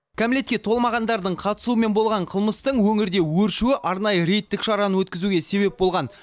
кәмелетке толмағандардың қатысуымен болған қылмыстың өңірде өршуі арнайы рейдтік шараны өткізуге себеп болған